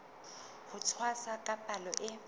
ho tshwasa ka palo e